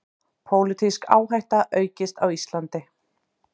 Pólitísk áhætta aukist á Íslandi